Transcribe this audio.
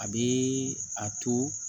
A bɛ a to